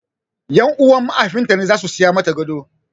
Ƴan uwan mahaifin ta ne zasu saya mata gado